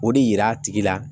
O de yira a tigi la